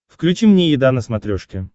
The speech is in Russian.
включи мне еда на смотрешке